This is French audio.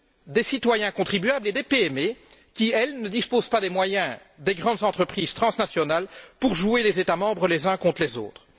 Des citoyens contribuables et des PME qui, elles, ne disposent pas des moyens des grandes entreprises transnationales pour jouer les États membres les uns contre les autres.